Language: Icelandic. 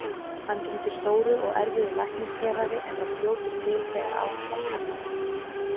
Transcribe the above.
Hann gegndi stóru og erfiðu læknishéraði en var fljótur til þegar á hann var kallað.